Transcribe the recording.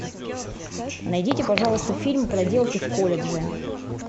найдите пожалуйста фильм проделки в колледже